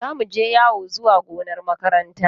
Za mu je yawo zuwa gonar makaranta.